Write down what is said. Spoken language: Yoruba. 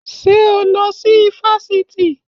Ṣé o lọ sí ifásitì?